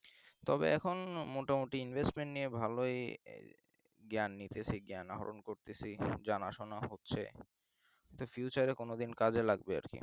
তবে এখন মোটামুটি investment নিয়ে ভালই জ্ঞান হরণ করতেছি জানাশোনা হচ্ছে তো future এ কোনদিন কাজে লাগবে আর কি